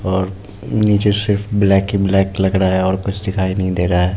और निचे सिर्फ ब्लैक ही ब्लैक लग रहा है और कुछ दिखाई नहीं दे रहा है।